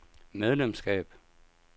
medlemskab